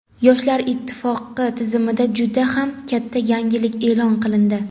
Yoshlar ittifoqi tizimida juda ham katta yangilik e’lon qilindi.